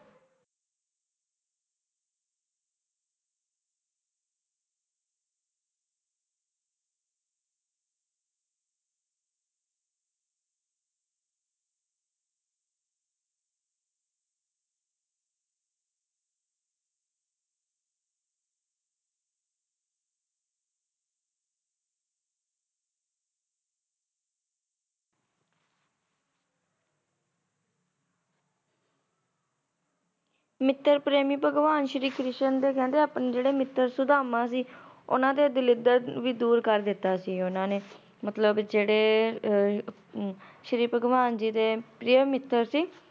ਮਿੱਤਰ ਪ੍ਰੇਮੀ ਭਗਵਾਨ ਸ਼੍ਰੀ ਕ੍ਰਿਸ਼ਨ ਦੇ ਕਹਿੰਦੇ ਅੱਪਣੇ ਜੇੜੇ ਮਿੱਤਰ ਸੁਧਾਮਾ ਸੀ, ਊਨਾ ਦਾ ਦਰਿਦ੍ਰ ਵੀ ਦੂਰ ਕਰ ਦਿੱਤਾ ਸੀ ਉਹਨਾਂ ਨੇ ਮਤਲਬ ਜੇੜੇ ਸ਼੍ਰੀ ਭਗਵਾਨ ਜੀ ਦੇ ਪ੍ਰਿਆ ਮਿੱਤਰ ਸੀ